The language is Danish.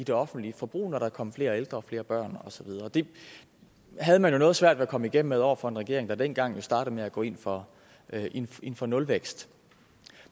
det offentlige forbrug når der kom flere ældre og flere børn og så videre det havde man jo noget svært ved at komme igennem med over for en regering der dengang startede med at gå ind for ind for nulvækst